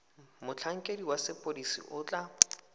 motlhankedi wa sepodisi o tla